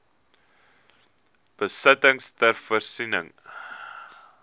besittings ter voorsiening